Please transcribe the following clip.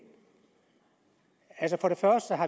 altså